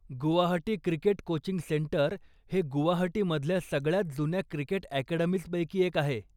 Guwahati cricket coaching centre हे गुवाहाटीमधल्या सगळ्यांत जुन्या क्रिकेट अकॅडमीजपैकी एक आहे.